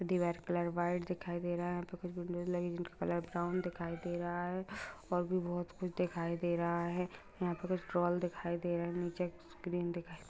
दीवार का colour white दिखाई दे रहा है यहाॅं पर कुछ का कलर ब्राउन दिखाई दे रहा है और भी बहुत कुछ दिखाई दे रहा है यहाॅं पर कुछ दिखाई दे रहा है नीचे स्क्रीन दिखा --